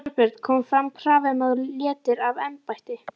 Þorbjörn: Kom fram krafa um að þú létir af embætti?